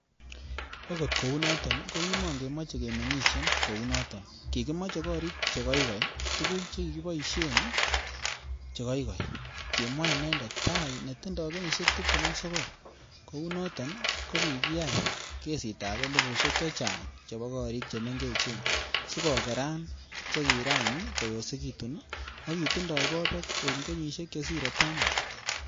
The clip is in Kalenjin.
"Akot kounoton kokimon kemoche kemeng'isien kounoton, kikimoche gorik che koikoi, tuguk chekiboishien chekoikoi,"Kimwa inendet Thai netindoi kenyisiek tibtem ak sogol, kounoton kokiyai kesitab elifusiek chechang chebo gorik che mengechen sikokeran chekiran koyosekitun ak kitindoi bobek en kenyisiek chesire taman.